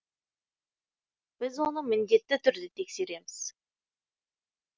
біз оны міндетті түрде тексереміз